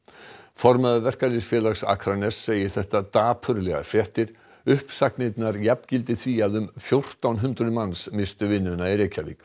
formaður Verkalýðsfélags Akraness segir þetta dapurlegar fréttir uppsagnirnar jafngildi því að um fjórtán hundruð manns misstu vinnuna í Reykjavík